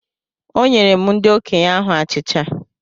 Onyerem ndi okenye ahu achicha.